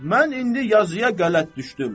Mən indi yazıya qələt düşdüm.